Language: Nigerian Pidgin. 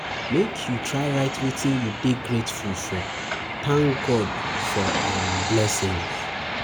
Make you try write wetin you um dey um grateful for, thank God for um blessings.